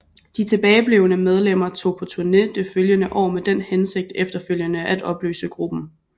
De tilbageblevne medlemmer tog på turné det følgende år med den hensigt efterfølgende at opløse gruppen